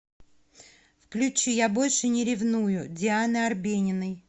включи я больше не ревную дианы арбениной